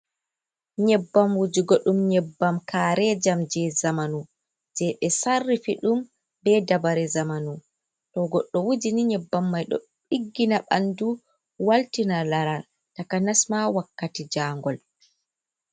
Nyebbam wujugo ɗum nyebbam karejam je zamanu, je ɓe sarifi ɗum be dabare zamanu, to goɗɗo wuji ni nyebbam mai ɗo ɗiggina ɓandu, waltina laral, takanas ma wakkati jangol.